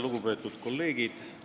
Lugupeetud kolleegid!